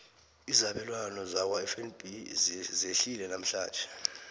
izabelwana zakwafnb zehlile namhlanje